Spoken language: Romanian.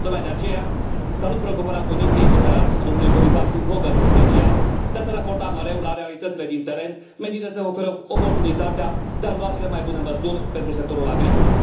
Tocmai de aceea, salut preocuparea Comisiei, în general, și a domnului comisar Phil Hogan, în special, de a se raporta mereu la realitățile din teren menite să ofere oportunitatea de a lua cele mai bune măsuri pentru sectorul agricol.